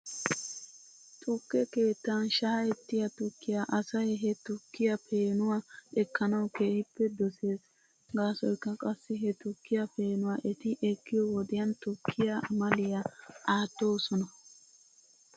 Tukke keettan shaa'ettiyaa tukkiyaa asay he tukkiyaa peenuwaa ekkanaw keehippe doses. Gaasoykka qassi he tukkiyaa peenuwaa eti ekkiyoo wodiyan tukkiyaa amaliyaa aattoosona.